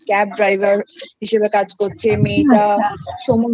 Cab Driver হিসাবে কাজ করছে মেয়েটা সমস্ত বাড়ির